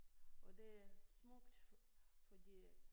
Og det er smukt fordi at